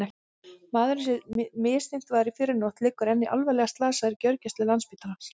Maðurinn sem misþyrmt var í fyrrinótt liggur enn alvarlega slasaður á gjörgæsludeild Landspítalans.